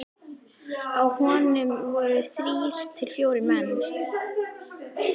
Á honum voru þrír til fjórir menn.